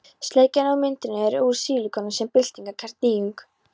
Sleikjan á myndinni er úr sílikoni sem er byltingarkennd nýjung.